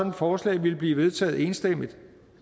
et forslag ville blive vedtaget enstemmigt